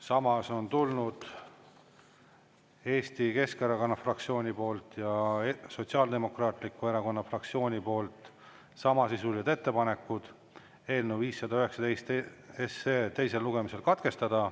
Samas on tulnud Eesti Keskerakonna fraktsiooni poolt ja Sotsiaaldemokraatliku Erakonna fraktsiooni poolt samasisulised ettepanekud eelnõu 519 teisel lugemisel katkestada.